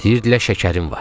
Deyirdilər şəkərin var.